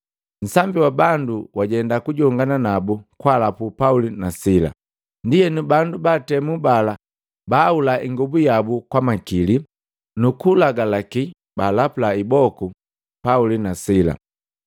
Nsambi wa bandu wajenda kujongana nabu kwalapu Pauli na Sila. Ndienu, bandu baatemu bala baahula ingobu yabu kwa makili, nuku kulagalaki baalapula iboku Pauli na Sila.